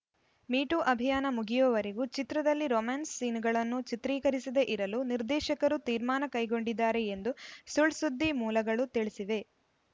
me too ಅಭಿಯಾನ ಮುಗಿಯುವವರೆಗೂ ಚಿತ್ರದಲ್ಲಿ ರೊಮ್ಯಾನ್ಸ್‌ ಸೀನ್‌ಗಳನ್ನು ಚಿತ್ರೀಕರಿಸದೇ ಇರಲು ನಿರ್ದೇಶಕರು ತೀರ್ಮಾನ ಕೈಗೊಂಡಿದ್ದಾರೆ ಎಂದು ಸುಳ್‌ ಸುದ್ದಿ ಮೂಲಗಳು ತಿಳಿಸಿವೆ